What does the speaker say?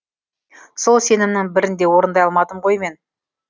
сол сенімнің бірін де орындай алмадым ғой мен